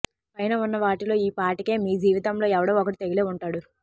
పైన ఉన్న వాటిలో ఈ పాటికే మీ జీవితంలో ఎవడో ఒకడు తగిలే ఉంటాడు